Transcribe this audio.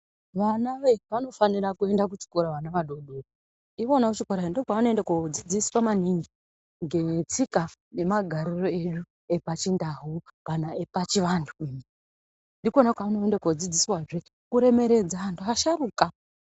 Vana vanofanire kuende kuchikora vana vadodori ikona kuchikorayo ndikona kwaanoenda kodzidziswa maningi ngetsika nemagariro edu epachindau kana epachivanhu ndikona kwaanoendezve kodzidziswe kuremeredze anhu asharuka.